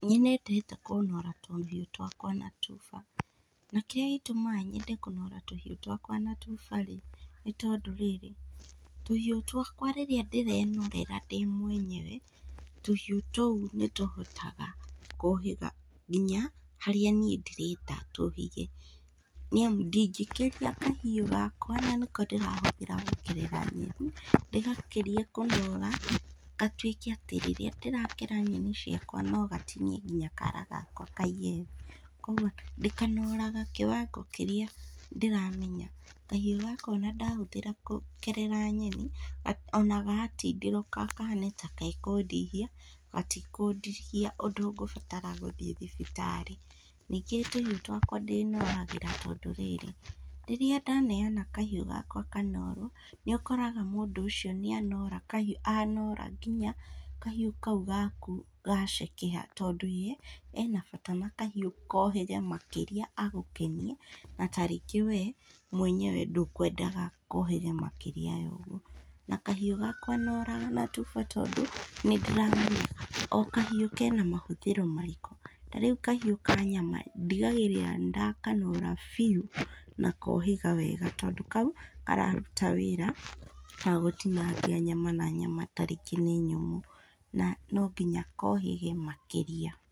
Nĩnyendete kũnora tũhiũ twakwa na tuba, na kĩrĩa gĩtũmaga nyende kũnora tũhiũ twakwa na tuba rĩ, nĩ tondũ rĩrĩ, tũhiũ twakwa rĩrĩa ndĩrenorera ndĩ mwenyewe, tũhiũ tũu nĩtũhotaga kũhĩga nginya, harĩa niĩ ndĩrenda tũhĩge nĩamu ndingĩkĩria kahiũ gakwa na nĩko ndĩrahũthĩra gũkerera nyeni, ndĩgakĩrie kũnora, gatwĩke atĩ rĩrĩa ndĩrakera nyeni ciakwa nogatinie nginya kara gakwa kaige thĩ, ũguo ndĩkanoraga kĩwango kĩrĩa ndĩramenya kahiũ gaka ona ndahũthĩra gũkerera nyeni ga ona gatindirũka, kahane ta gekũndihia, gatikũndihia ũndũ ngũbatara gũthiĩ thibitarĩ, ningĩ tũhiũ twakwa ndĩnoragĩra tondũ rĩrĩ, rĩrĩa ndaneana kahiũ gakwa kanorwo, nĩũkoraga mũndũ ũcio nĩanora kahiũ, anora nginya kahiũ kau gaku gacekeha tondũ ye enabata na kahiũ kohĩge makĩria agũkenie, na tarĩngĩ we mwenyewe ndũkwendaga kohĩge makĩria yoguo, na kahiũ gakwa noraga na tuba tondũ, nĩndĩramenya o kahiũ kena mahũthĩro marĩkũ, tarĩu kahiũ ka nyama ndigagĩrĩra nĩndakanora biũ na kohĩga wega tondũ kau, gatiraruta wĩra nogũtinangia nyama na nyama tarĩngĩ nĩ nyũmũ na nonginya kohĩge makĩria.